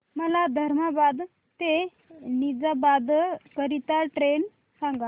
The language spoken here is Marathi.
मला धर्माबाद ते निजामाबाद करीता ट्रेन सांगा